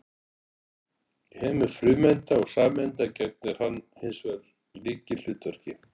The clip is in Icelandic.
í heimi frumeinda og sameinda gegnir hann hins vegar lykilhlutverki